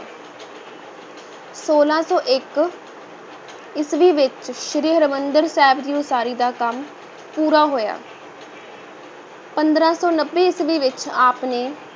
ਛੋਲਾਂ ਸੌ ਇੱਕ ਈਸਵੀ ਵਿੱਚ ਸ੍ਰੀ ਹਰਿਮੰਦਰ ਸਾਹਿਬ ਦੀ ਉਸਾਰੀ ਦਾ ਕੰਮ ਪੂਰਾ ਹੋਇਆ ਪੰਦਰਾਂ ਸੌ ਨੱਬੇ ਈਸਵੀ ਵਿੱਚ ਆਪ ਨੇ